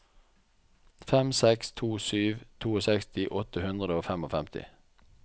fem seks to sju sekstito åtte hundre og femtifem